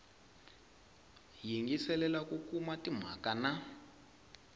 yingiselela ku kuma timhaka na